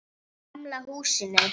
Í gamla húsinu.